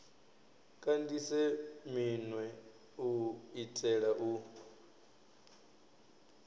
kandise minwe u itela u